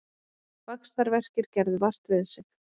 Vaxtarverkir gerðu vart við sig